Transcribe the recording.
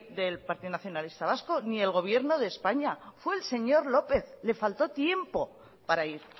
del partido nacionalista vasco ni el gobierno de españa fue el señor lópez le faltó tiempo para ir